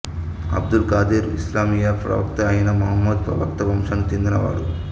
అబ్దుల్ ఖాదిర్ ఇస్లామీయ ప్రవక్త ఐన మహమ్మదు ప్రవక్త వంశానికి చెందినవాడు